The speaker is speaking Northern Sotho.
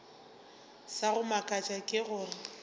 sa go mmakatša ke gore